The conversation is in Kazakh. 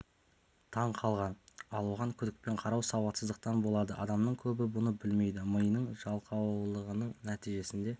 таң қалған ал оған күдікпен қарау сауатсыздықтан болады адамның көбі бұны білмейді миының жалқаулығының нәтижесінде